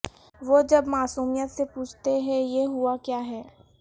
وہ جب معصومیت سے پوچھتے ہیں یہ ہوا کیا ہے